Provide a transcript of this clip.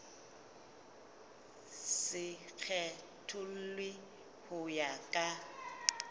se kgethollwe ho ya ka